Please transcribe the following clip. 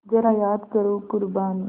ज़रा याद करो क़ुरबानी